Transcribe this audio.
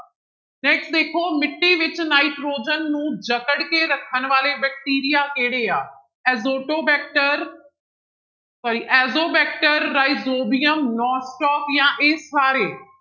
Next ਦੇਖੋ ਮਿੱਟੀ ਵਿੱਚ ਨਾਇਟ੍ਰੋਜਨ ਨੂੰ ਜਕੜ ਕੇ ਰੱਖਣ ਵਾਲੇ ਬੈਕਟੀਰੀਆ ਕਿਹੜੇ ਆ ਐਜੋਟੋ ਬੈਕਟਰ sorry ਐਜੋਵੈਕਟਰ, ਰਾਇਜੋਬੀਅਮ ਜਾਂ ਇਹ ਸਾਰੇ।